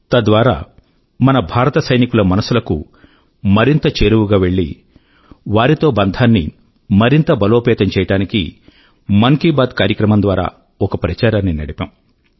తద్వారా మన భారత సైనికుల మనసుల కు మరింత చేరువ గా వెళ్ళి వారితో బంధాన్ని మరింత బలోపేతం చేయడానికి మన్ కీ బాత్ కార్యక్రమం ద్వారా ఒక ప్రచారాన్ని నడిపాము